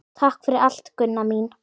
Takk fyrir allt, Gunna mín.